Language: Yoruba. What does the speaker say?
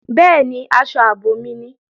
Bẹ́ẹ̀ni, aṣọ ààbò mi ni